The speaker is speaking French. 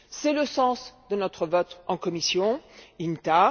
c'est le sens de notre vote en commission INTA.